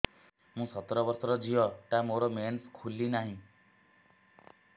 ମୁ ସତର ବର୍ଷର ଝିଅ ଟା ମୋର ମେନ୍ସେସ ଖୁଲି ନାହିଁ